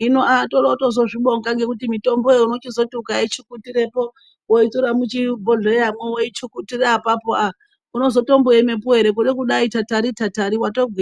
hino torotozozvibonga ngekuti mitomboyo unochizoti ukaichukutirepo woitore muchibhodhleyamwo woichikutire apapo unozotomboemepo ere kude kudai tatari tatari watogwinya.